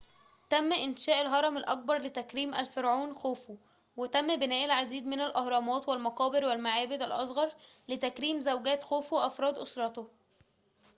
تم إنشاء الهرم الأكبر لتكريم الفرعون خوفو وتم بناء العديد من الأهرامات والمقابر والمعابد الأصغر لتكريم زوجات خوفو وأفراد أسرته